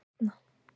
Stjarna